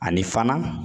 Ani fana